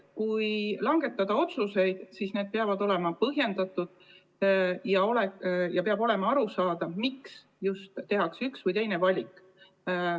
Kui langetada otsuseid, siis need peavad olema põhjendatud ja peab olema arusaadav, miks tehakse üks või teine valik.